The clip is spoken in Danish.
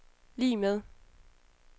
lig med